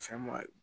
Cɛn maa